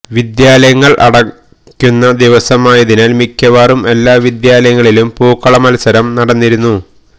വിദ്യാലയങ്ങള് അടക്കുന്ന ദിവസമായതിനാല് മിക്കവാറും എല്ലാ വിദ്യാലയങ്ങളിലും പൂക്കള മത്സരം നടന്നിരുന്നു